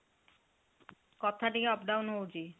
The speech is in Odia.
କଥା ଟିକେ up down ହଉଚି